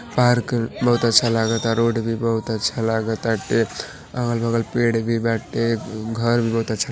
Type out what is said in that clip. park बहुत अच्छा लागता रोड भी बहुत अच्छा लागताटे अगल-बगल पेड़ भी बाटेघर भी बहुत अच्छा --